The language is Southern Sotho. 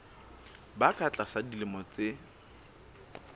ba ka tlasa dilemo tse